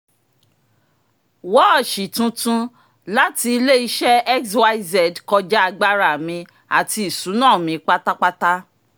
wọ́ọ̀ṣì tuntun láti ile-iṣẹ xyz kọja agbára mi àti ìṣúná mi pátápátá